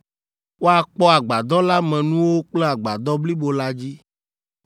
Woakpɔ Agbadɔ la me nuwo kple Agbadɔ blibo la dzi